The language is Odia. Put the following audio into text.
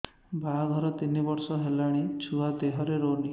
ବାହାଘର ତିନି ବର୍ଷ ହେଲାଣି ଛୁଆ ଦେହରେ ରହୁନି